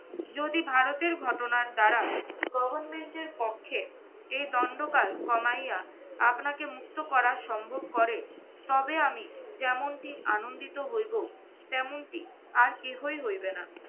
যদি ভারতের ঘটনার দ্বারা government এর পক্ষে এই দণ্ডকাল কমাইয়া আপনাকে মুক্ত করা সম্ভব করে তবে আমি যেমনটি আনন্দিত হইবো তেমনটি আর কেহই হইবে না।